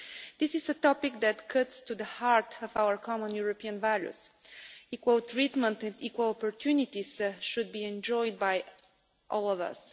This is a topic that goes to the heart of our common European values. Equal treatment and equal opportunities should be enjoyed by all of us.